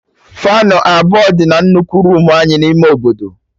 Faanụ abụọ dị na nnukwu roomu anyị n'ime obodo